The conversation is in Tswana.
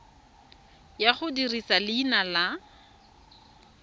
ya go dirisa leina la